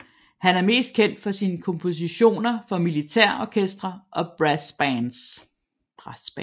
Han er mest kendt for sine kompositioner for militærorkestre og brassbands